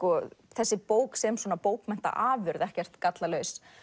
þessi bók sem svona bókmenntaafurð ekkert gallalaus